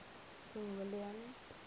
king william